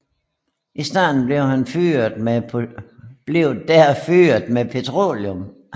I starten blev der fyret med petroleum